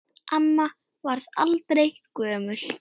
Amma varð aldrei gömul.